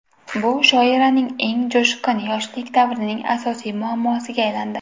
Bu shoiraning eng jo‘shqin yoshlik davrining asosiy muammosiga aylandi.